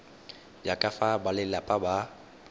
ya ka fa balelapa ba